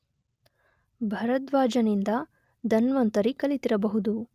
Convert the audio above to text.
ಭರದ್ವಾಜನಿಂದ Dhanvantari ಕಲಿತಿರಬಹುದು.